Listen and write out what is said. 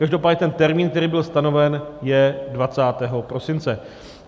Každopádně ten termín, který byl stanoven, je 20. prosince.